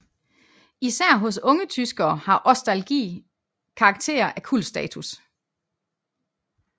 Især hos yngre tyskere har ostalgi karakter af kultstatus